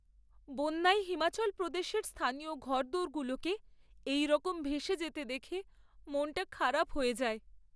বন্যায় হিমাচল প্রদেশের স্থানীয় ঘর দোরগুলোকে এইরকম ভেসে যেতে দেখে মনটা খারাপ হয়ে যায়।